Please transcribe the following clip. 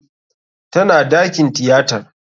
Tana dakin tiyatar.